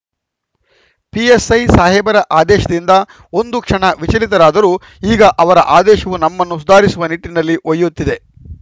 PSI ಸಾಹೇಬರ ಆದೇಶದಿಂದ ಒಂದು ಕ್ಷಣ ವಿಚಲಿತರಾದರೂ ಈಗ ಅವರ ಆದೇಶವು ನಮ್ಮನ್ನು ಸುಧಾರಿಸುವ ನಿಟ್ಟಿನಲ್ಲಿ ಒಯ್ಯುತ್ತಿದೆ